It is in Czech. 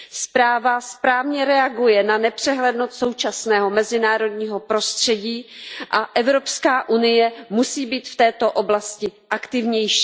Zpráva správně reaguje na nepřehlednost současného mezinárodního prostředí a Evropská unie musí být v této oblasti aktivnější.